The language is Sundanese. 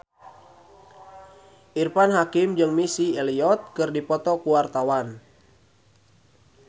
Irfan Hakim jeung Missy Elliott keur dipoto ku wartawan